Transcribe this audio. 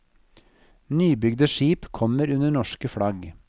Nybygde skip kommer under norsk flagg.